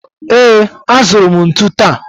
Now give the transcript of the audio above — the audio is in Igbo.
Ee, azụrụ m ntụ taa